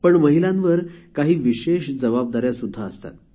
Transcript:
पण महिलांवर काही विशेष जबाबदाऱ्या सुद्धा असतात